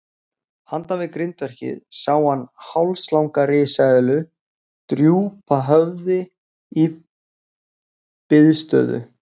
Handan við grindverkið sá hann hálslanga risaeðlu drúpa höfði í biðstöðu.